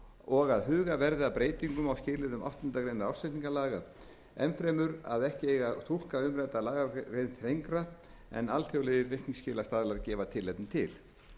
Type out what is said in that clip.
og að huga verði að breytingum á skilyrðum áttundu greinar ársreikningalaga enn fremur að ekki eigi að túlka umrædda lagagrein þrengra en alþjóðlegir reikningsskilastaðlar gefa tilefni til